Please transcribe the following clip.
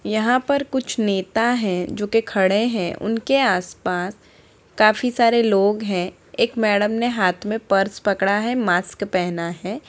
यहाँ पर कुछ नेता हैं जो की खड़े हैं उनके आस पास काफी सारे लोग हैं | एक मेडम ने हाथ में पर्स पड़ा है मास्क पहना है।